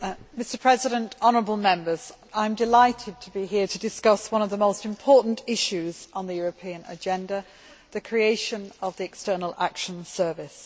Mr President, I am delighted to be here to discuss one of the most important issues on the European agenda the creation of the External Action Service.